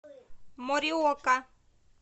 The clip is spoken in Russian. мориока